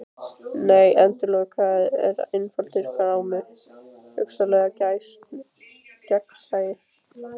Nei endalok eru einfaldur grámi: hugsanlegt gagnsæi.